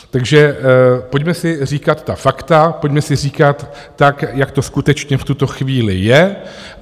Takže pojďme si říkat ta fakta, pojďme si říkat tak, jak to skutečně v tuto chvíli je.